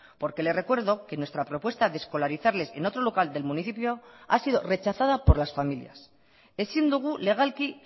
porque le recuerdo que nuestra propuesta de escolarizarles en otro local del municipio ha sido rechazada por las familias ezin dugu legalki